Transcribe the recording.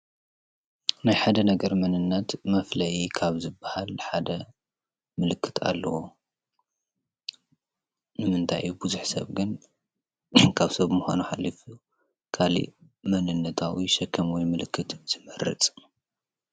ናይ ሓደ ነገር መንነት መፍለዪ ካብ ዝባሃል ሓደ ምልክት አለዎ። ንምንታይ ቡዝሕ ሰብ ግን ካብ ሰብ ምኻን ሓሊፍ ካሊእ ማንነታዊ ሽክም ወይ ምልክት ዝመርፅ።